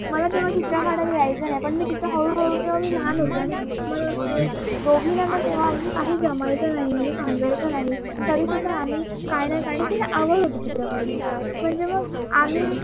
मला तेव्हा चित्र काढायला यायचं नाही मी तिचा हळूहळू ते मे लहान होते आणि दोगीना काय जमायचं नाही काय समजायचं नाही तरीसुद्धा आम्ही काही ना काही काढायचं तिला आवड होती चित्रकलेची